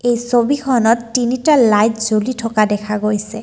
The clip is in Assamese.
এই ছবিখনত তিনিটা লাইট জ্বলি থকা দেখা গৈছে।